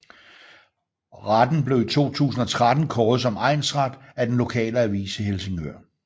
Retten blev i 2013 kåret som egnsret af den lokale avis i Helsingør